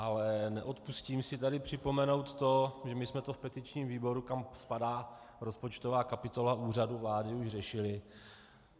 Ale neodpustím si tady připomenout to, že my jsme to v petičním výboru, kam spadá rozpočtová kapitola Úřadu vlády, již řešili.